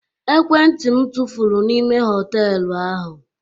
Ekwentị m tụfuru n'ime họtelu ahụ.